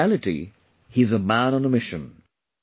In reality he is a man on a mission